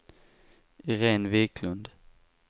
Iréne Wiklund